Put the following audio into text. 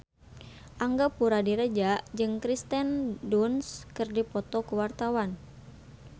Angga Puradiredja jeung Kirsten Dunst keur dipoto ku wartawan